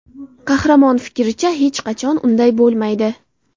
Qahramon fikricha, hech qachon unday bo‘lmaydi.